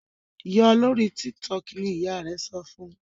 yọ lórí TikTok! ni ìyá rè so fún